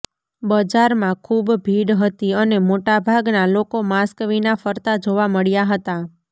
બજારમાં ખૂબ ભીડ હતી અને મોટાભાગના લોકો માસ્ક વિના ફરતા જોવા મળ્યા હતા